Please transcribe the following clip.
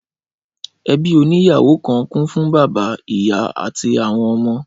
Ẹbí oní ìyàwó kan kún fún bàbá, ìyá, àti àwọn ọmọ